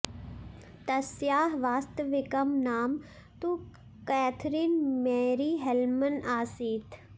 तस्याः वास्तविकं नाम तु कॅथरिन् मेरी हेल्मन् आसीत्